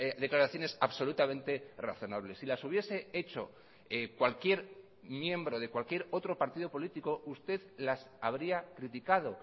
declaraciones absolutamente razonables si las hubiese hecho cualquier miembro de cualquier otro partido político usted las habría criticado